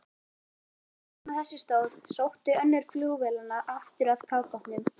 Meðan á þessu stóð, sótti önnur flugvélanna aftur að kafbátnum.